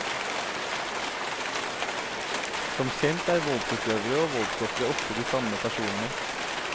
Som kjent er voldsutøvere og voldsofre ofte de samme personene.